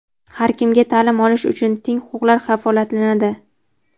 har kimga ta’lim olish uchun teng huquqlar kafolatlanadi.